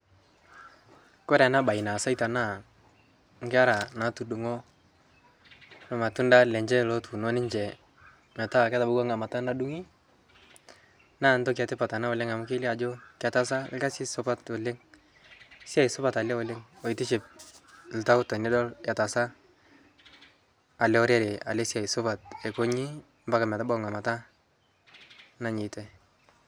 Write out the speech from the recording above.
Koree ena bae naseita naa nkera natudung'o irmatunda lenye lootuno ninche meeta ketabawua eng'amata nadung'i. Naa entoki etipat enaa oleng' amu kelio ajo ketasa orkasi supat oleng'. Esiai supat naleng' oleng' oitiship iltauja tenidol asiita ele orere ele siai supat akoji mpaka metabau ng'amata nanyitae.